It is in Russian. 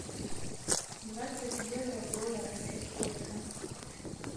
двадцать евро в долларах это сколько